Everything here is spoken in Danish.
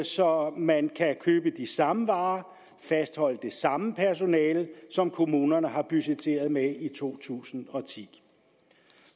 så man kan købe de samme varer og fastholde det samme personale som kommunerne har budgetteret med i to tusind og ti